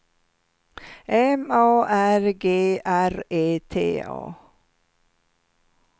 M A R G R E T A